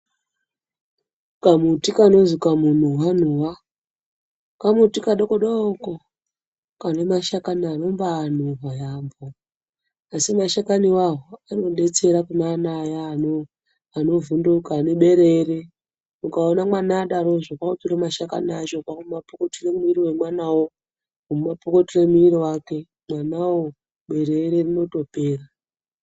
Kamuti kanonzi kamunuhwa-nuhwa kamuti kadoko-doko kane mashakani anombaanuhwa yaambo, asi mashakani iwayo anobaadetsera kune vane vana vaya vanovhunduka, vane bereyere. Ukaona mwana adarozve kwakutora mashakani acho kwakumapukutira mumwiri wemwana wo. Kumapukutira mumwiriri wake mwanawo biriwiri rinotopera.